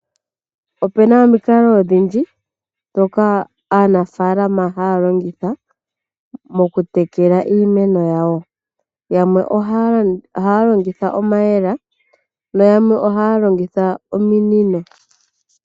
Opena omikalo odhindji dhoka aanafalama haya longitha mokutekela iimeno yawo. Yamwe ohaya longitha omayela nayamwe ohaya longitha ominino.